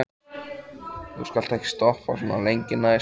Þú skalt ekki stoppa svona lengi næst.